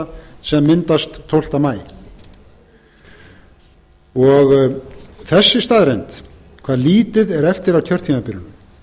hluta sem myndast tólfta maí þessi staðreynd hvað lítið er eftir af kjörtímabilinu